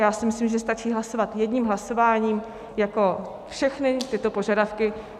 Já si myslím, že stačí hlasovat jedním hlasováním jako všechny tyto požadavky.